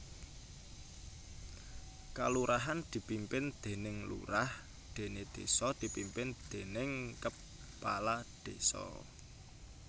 Kalurahan dipimpin déning lurah déné désa dipimpin déning kepala désa